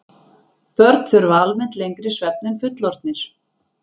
Börn þurfa almennt lengri svefn en fullorðnir.